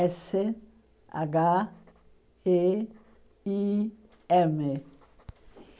Ésse agá ê i ême